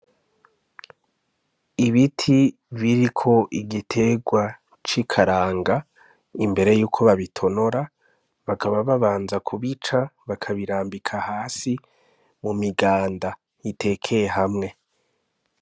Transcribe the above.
Ibiti biriko igitegwa c'ikaranga, imbere yuko babitonora bakaba babanza kubica, bakabirambika hasi mu miganda itekeye hamwe.